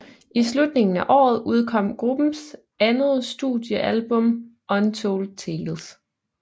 I slutningen af året udkom gruppens andet studiealbum Untold Tails